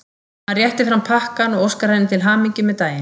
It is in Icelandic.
Hann réttir fram pakkann og óskar henni til hamingju með daginn.